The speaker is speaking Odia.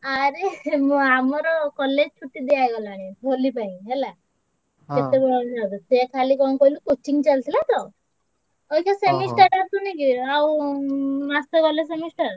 ଆରେ ଆମର college ଛୁଟି ଦିଆ ହେଇଗଲାଣି ହୋଲି ପାଇଁ ହେଲା ସିଏ ଖାଲି କଣ କହିଲୁ coaching ଚାଲିଥିଲା ତ ଅଇଛା semester ଆସୁନି କି ଆଉ ମାସ ଗଲେ semester